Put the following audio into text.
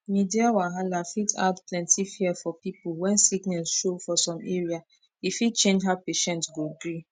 media wahala fit add plenty fear for people when sickness show for some area e fit change how patient go gree